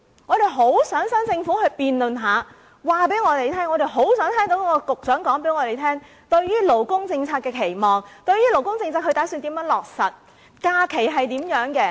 我們很想跟新政府辯論一番，我們很想聽聽局長交代新政府對於勞工政策的期望，打算如何落實相關政策，假期如何處理等。